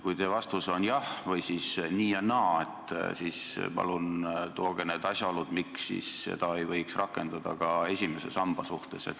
Kui teie vastus on jah või nii ja naa, siis palun tooge välja need asjaolud, miks seda ei võiks rakendada ka esimese samba suhtes.